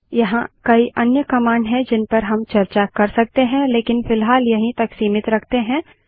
यहाँ कई अन्य कमांड हैं जिनपर हम चर्चा कर सकते हैं लेकिन फिलहाल यहीं तक सीमित रखते हैं